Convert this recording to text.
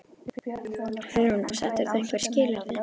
Hugrún: Og settir þú einhver skilyrði?